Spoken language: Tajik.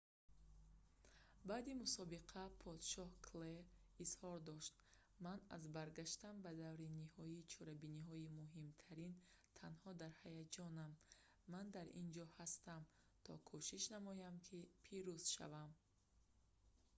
баъди мусобиқа подшоҳ клей изҳор дошт ман аз баргаштан ба даври ниҳоии чорабиниҳои муҳимтарин танҳо дар ҳаяҷонам ман дар ин ҷо ҳастам то кӯшиш намоям ки пирӯз шавам